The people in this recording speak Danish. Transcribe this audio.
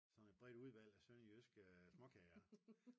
Sådan et bredt udvalg af sønderjyske småkager